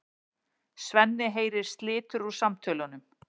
Svenni heyrir slitur úr samtölunum.